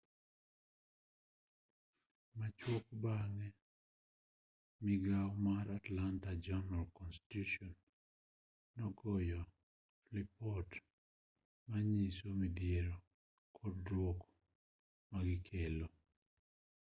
machuok bang'e migao mar atlanta journal-constitution nogoyo lipot manyiso midhiero kod duoko magikelo